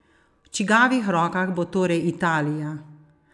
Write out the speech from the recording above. V čigavih rokah bo torej Italija?